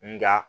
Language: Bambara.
Nga